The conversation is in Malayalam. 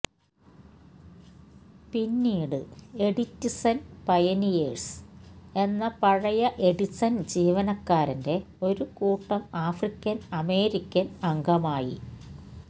പിന്നീട് എഡിറ്റിസൺ പയനിയേഴ്സ് എന്ന പഴയ എഡിസൺ ജീവനക്കാരന്റെ ഒരു കൂട്ടം ആഫ്രിക്കൻ അമേരിക്കൻ അംഗമായി